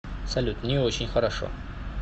салют не очень хорошо